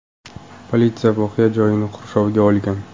Politsiya voqea joyini qurshovga olgan.